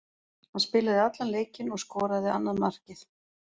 Hann spilaði allan leikinn og skoraði annað markið.